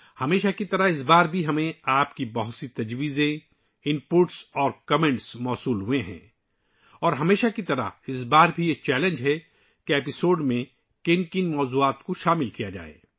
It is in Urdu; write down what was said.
ہمیشہ کی طرح ، اس بار بھی ہمیں آپ کی بہت ساری تجاویز، ان پٹ اور تبصرے ملے ہیں اور ہمیشہ کی طرح اس بار بھی یہ چیلنج ہے کہ ایپی سوڈ میں کن کن موضاعات کو شامل کیا جائے